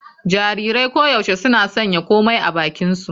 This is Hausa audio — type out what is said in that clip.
Jarirai koyaushe suna sanya komai a bakinsu.